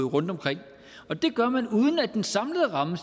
rundtomkring og det gør man uden at den samlede ramme